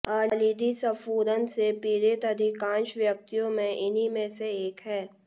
अलिंदी स्फुरण से पीढ़ित अधिकांश व्यक्तियों में इन्ही में से एक है